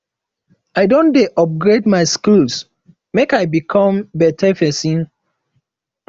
i don dey upgrade my skills make i become beta pesin